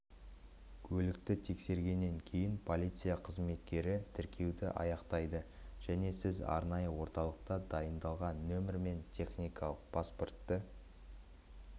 көлікті тексергеннен кейін полиция қызметкері тіркеуді аяқтайды және сіз арнайы орталықта дайындалған нөмір мен техникалық паспортты